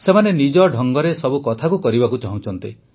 ସେମାନେ ନିଜ ଢଙ୍ଗରେ ସବୁ କଥାକୁ କରିବାକୁ ଚାହୁଁଛନ୍ତି